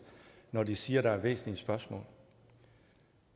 når de siger at der er væsentlige spørgsmål